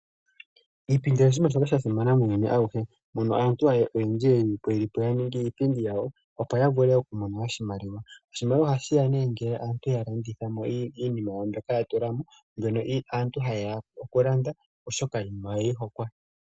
Iipindi oyo oshinima shoka sha simana muuyuni awuhe mono aantu oyendji yeli taya ningi iipindi yawo opo yavule okumona oshimaliwa. Oshimaliwa ohashiya nee ngele aantu ya landithamo iinima yawo mbyoka ya tulamo mbyono aantu ha yeya okulanda oshoka iinima oyeyi hokwa.